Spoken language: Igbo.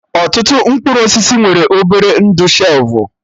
Ọtụtụ mkpụrụ osisi nwere obere ndụ shelfụ